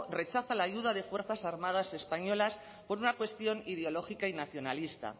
rechaza la ayuda de fuerzas armadas españolas por una cuestión ideológica y nacionalista